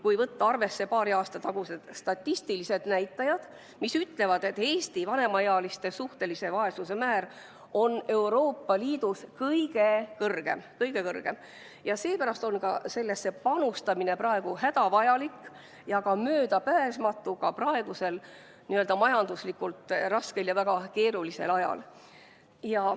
Kui võtta arvesse paari aasta tagused statistilised näitajad, mis ütlevad, et Eesti vanemaealiste suhtelise vaesuse määr on Euroopa Liidus kõige kõrgem, siis on selge, et pensionitõusu panustamine on hädavajalik ja möödapääsmatu ka praegusel majanduslikult väga keerulisel ajal.